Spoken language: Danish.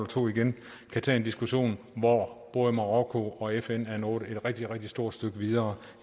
to igen kan tage en diskussion hvor både marokko og fn er nået et rigtig rigtig stort stykke videre